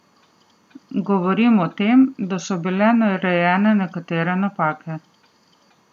Govorim o tem, da so bile narejene nekatere napake.